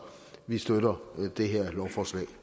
vi støtter det her lovforslag